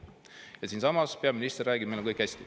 Ja siinsamas peaminister räägib, et meil on kõik hästi.